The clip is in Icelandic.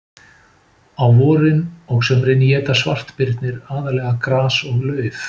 Á vorin og sumrin éta svartbirnir aðallega gras og lauf.